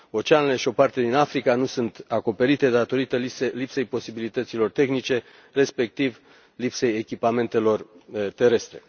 Oceanele și o parte din Africa nu sunt acoperite datorită lipsei posibilităților tehnice, respectiv lipsei echipamentelor terestre.